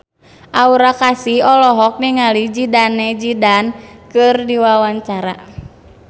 Aura Kasih olohok ningali Zidane Zidane keur diwawancara